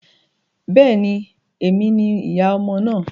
Bẹ́ẹ̀ ni, èmi ni ìyá ọmọ náà.